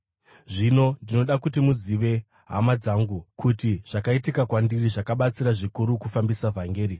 Zvino ndinoda kuti muzive, hama dzangu, kuti zvakaitika kwandiri zvakabatsira zvikuru kufambisa vhangeri.